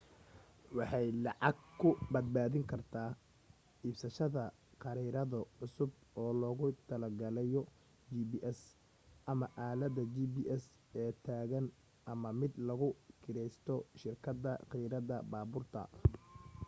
waxay lacag ku badbaadin kartaa iibsasashada khariirado cusub oo loogu tala galayu gps,ama aaladda gps ee taagan ama mid lagu kireysto shirkada kirada baabuurta